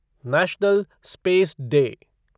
national space day